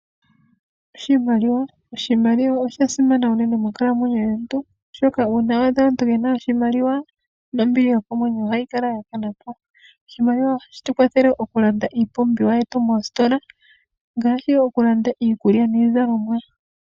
Oshimaliwa oshasimana unene monkalamwenyo yomuntu , oshoka uuna waadha aantu yena oshimaliwa nombili yokomwenyo ohayi kalapo . Oshimaliwa ohashi tu kwatha okulanda iipumbiwa yetu moositola ngaashi okulanda iikulya niizalomwa.